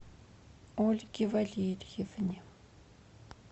ольге валерьевне